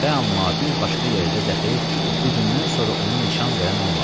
Fəəma bir başqa yerdə daxili bu gündən sonra onun nişan verən olmadı.